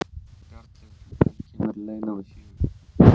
Bjarnlaugur, hvenær kemur leið númer fjögur?